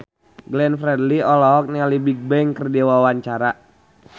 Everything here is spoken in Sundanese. Glenn Fredly olohok ningali Bigbang keur diwawancara